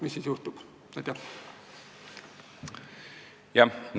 Mis siis juhtub?